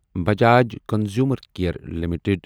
Bajaj consumer care limited